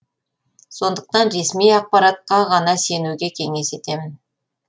сондықтан ресми ақпараттқа ғана сенуге кеңес етемін